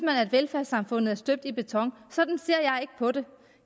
at velfærdssamfundet er støbt i beton sådan på det